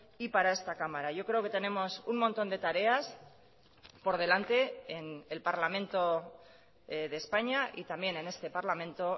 y para esta cámara yo creo que tenemos un montón de tareas por delante en el parlamento de españa y también en este parlamento